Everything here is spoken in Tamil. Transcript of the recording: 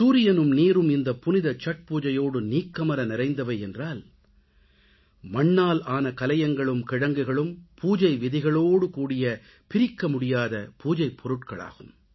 சூரியனும் நீரும் இந்த புனித சத் பூஜையோடு நீக்கமற நிறைந்தவை என்றால் மண்ணால் ஆன கலயங்களும் கிழங்குகளும் பூஜை விதிகளோடு கூடிய பிரிக்க முடியாத பூஜைப் பொருட்கள் ஆகும்